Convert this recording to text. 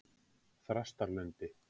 Þrastarlundi